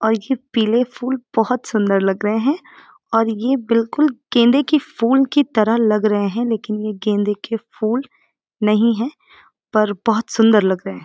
और ये पीले फूल बहुत सुंदर लग रहे हैं और ये बिल्कुल गेंदे की फूल की तरह लग रहे हैं लेकिन ये गेंदें के फूल नहीं हैं पर बहुत सुंदर लग रहे हैं|